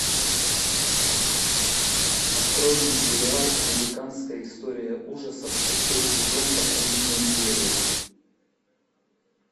открой мне сериал американская история ужасов шестой сезон последняя серия